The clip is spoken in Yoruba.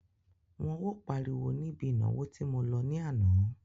Wọn ò páriwo níbi ìnáwó tí mo lọ ní àná.